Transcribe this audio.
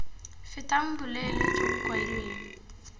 fetang boleele jo bo kailweng